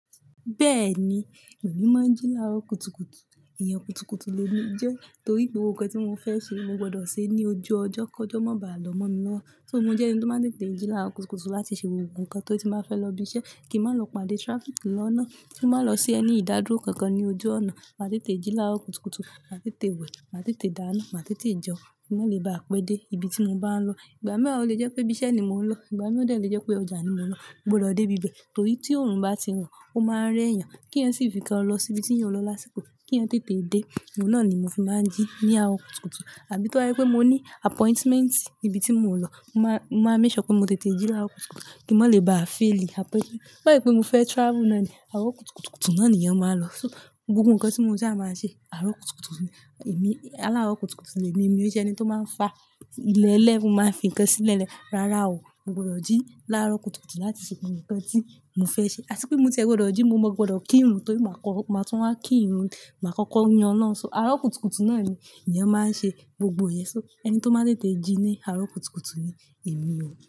Bẹ́ẹ̀ni, èmi máa ń jí láarọ kutukutu, ìyẹn kutukutu le mi jẹ́ torí gbogbo nnkan tí mo fẹ́ ṣe mo gbọdọ̀ ṣe ní ojú ọjọ́, kọjọ́ má bàá lọ́ mọ́ ni ná. So mo jẹ́ ẹni tó máa ń tètè jí láarọ kutukutu láti ṣe gbogbo nǹkan tó ri ti n ba fẹ́ lọ ibi iṣẹ́ kí n má lọ pàdé traffic lọ́nà, ko má lọ sí ẹni ìdádúró kankan ní ojú ọ̀nà. Màá tètè jí láwọ kutukutu, màá tètè wẹ̀, màá tètè dáná, màá tètè jẹun, kí n má lè bá apẹ́ dé ibi tí mo bá ń lọ. Ìgbà mìíràn o lè jẹ́ pé bí iṣẹ́ ni mò ń lọ, ìgbà mìíràn o lè jẹ́ pé ọjà ni mo ń lọ, mo gbọdọ̀ dé bíbẹ̀ torí tí òòrùn bá ti hàn ó máa rẹ́ èèyàn kí ẹ́ sì fi kan lọ sí ibi tí eeyan lọ lásìkò kí ẹ́eyan tètè dé. Òun náà ni mo fi máa ń jí ní àarọ̀ kutukutu àbí tó bá je pé mo ní appointment ibi tí mo ń lọ, mo máa, mo máa ń make sure pé mo tètè jí láwọ kutukutu kí n má lè bá fail apẹ́. To si je pé mo fẹ́ travel náà ni àarọ̀ kutukutu náà ni eeyan máa lọ. So gbogbo nǹkan tí mo sa máa ṣe àarọ̀ kutukutu ni èmi. Àláàrọ̀ kutukutu ni èmi, emi ò sẹ́ ẹni tó máa ń fa ilẹ̀ lẹ́ ẹ̀, to máa ń fi nǹkan sílẹ̀ lẹ́. Rárá o, mo gbọdọ̀ jí láarọ kutukutu láti ṣe gbogbo nǹkan tí mo fẹ́ ṣe. Àti pé mo tiẹ̀ gbọdọ̀ jí, mo gbọdọ̀ kí ìrùn torí màá kọ́, màá tún wá kí ìrùn, màá kọ́kọ́ yin Olorun. So àarọ̀ kutukutu náà ni eeyan máa ń ṣe gbogbo yẹn. So ẹni tó máa ń tètè jí ní àwọ̀ kutukutu ni èmi o.